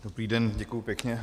Dobrý den, děkuji pěkně.